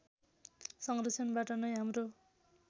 संरक्षणबाट नै हाम्रो